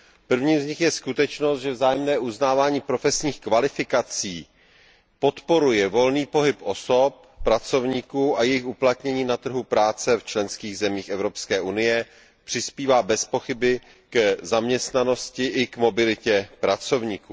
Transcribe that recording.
Prvním z nich je skutečnost, že vzájemné uznávání profesních kvalifikací podporuje volný pohyb osob, pracovníků a jejich uplatnění na trhu práce v členských zemí Evropské unie, přispívá bez pochyby k zaměstnanosti i k mobilitě pracovníků.